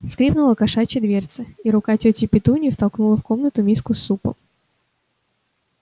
скрипнула кошачья дверца и рука тёти петуньи втолкнула в комнату миску с супом